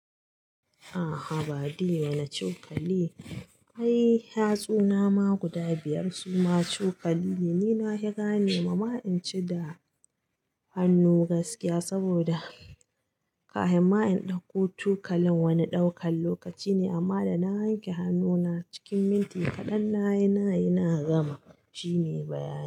A'a haba diye na cokali, ai hatsuna ma guda biyar su ma cokali. Ni na hira ne mama in ci da hannu gaskiya saboda kafin ma in ɗauko cokalin wani ɗaukan lokaci ne amma da na yanke hannuna cikin minti kaɗan nayi nayi na gama. Shi ne bayani.